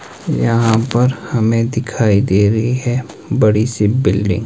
यहां पर हमें दिखाई दे रही है बड़ी सी बिल्डिंग ।